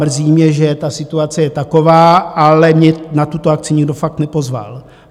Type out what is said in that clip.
Mrzí mě, že ta situace je taková, ale mě na tuto akci nikdo fakt nepozval.